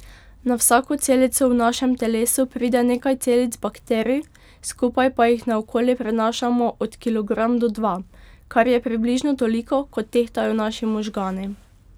Na vsako celico v našem telesu pride nekaj celic bakterij, skupaj pa jih naokoli prenašamo od kilogram do dva, kar je približno toliko kot tehtajo naši možgani.